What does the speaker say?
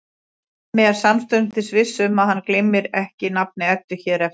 Hemmi er samstundis viss um að hann gleymir ekki nafni Eddu hér eftir.